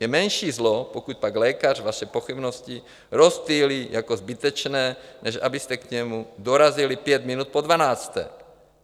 Je menší zlo, pokud pak lékař vaše pochybnosti rozptýlí jako zbytečné, než abyste k němu dorazili pět minut po dvanácté.